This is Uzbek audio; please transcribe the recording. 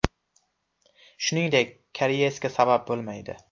Shuningdek, kariyesga sabab bo‘lmaydi.